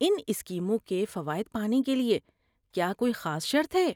ان اسکیموں کے فوائد پانے کے لیے کیا کوئی خاص شرط ہے؟